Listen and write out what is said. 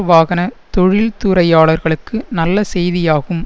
வாகன தொழில்துறையாளர்களுக்கு நல்ல செய்தியாகும்